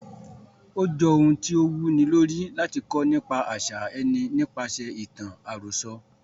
Ó j ohun tí o wu ni lórí, láti kọ́ nípa àṣà ẹni nípaṣẹ̀ ìtàn àròsọ.